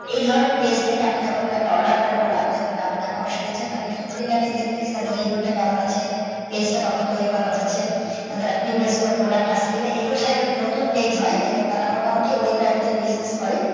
এই ধরণের page থেকে আপনি যখন কোনও একটা order করবেন বা আপনি যখন কাওকে টাকা পয়সা দিচ্ছেন তখন একটু খুঁটিনাটি দেখবেন যেটা তে renew টা কেমন আছে, page টা কখন তৈরি করা হয়েছে। তাদের আর previous কোনও product আছে কিনা। এগুলোর সঙ্গে যখন নতুন page হয় তারা মোটামুটি ঐ কয়েক দিনই business করে।